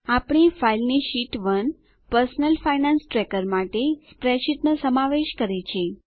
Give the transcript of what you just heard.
આપણી ફાઈલની sheet 1 sheet 1 personal finance tracker માટે સ્પ્રેડશીટનો સમાવેશ કરે છે